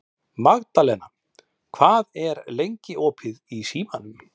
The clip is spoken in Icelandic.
Magðalena, hvað er lengi opið í Símanum?